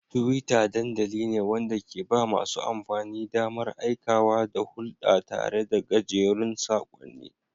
Twitter dandamali ne wanda ke ba masu amfani damar aikawa da hulɗa tare da gajerun saƙonni.